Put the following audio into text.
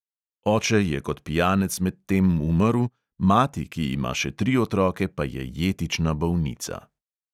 Oče je kot pijanec medtem umrl, mati, ki ima še tri otroke, pa je jetična bolnica.